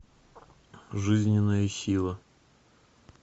жизненная сила